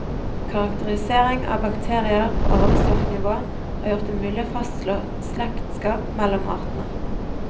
Karakterisering av bakterier på arvestoffnivå har gjort det mulig å fastslå slektskap mellom artene.